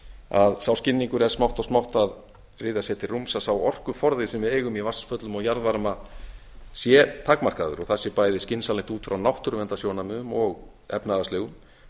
að sá skilningur er smátt og smátt að ryðja sér til rúms að sá orkuforði sem við eigum í vatnsföllum og jarðvarma sé takmarkaður og það sé bæði skynsamlegt út frá náttúruverndarsjónarmiðum og efnahagslegum